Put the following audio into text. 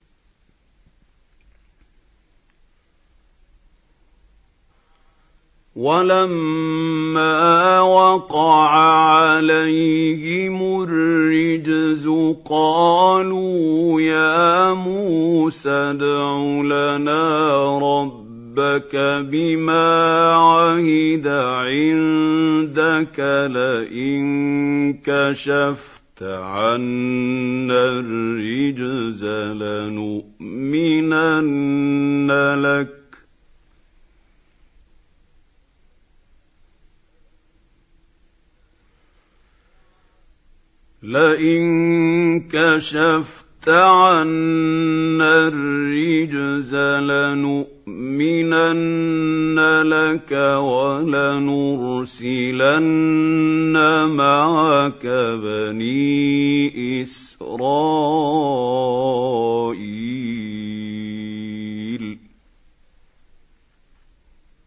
وَلَمَّا وَقَعَ عَلَيْهِمُ الرِّجْزُ قَالُوا يَا مُوسَى ادْعُ لَنَا رَبَّكَ بِمَا عَهِدَ عِندَكَ ۖ لَئِن كَشَفْتَ عَنَّا الرِّجْزَ لَنُؤْمِنَنَّ لَكَ وَلَنُرْسِلَنَّ مَعَكَ بَنِي إِسْرَائِيلَ